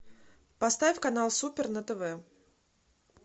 поставь канал супер на тв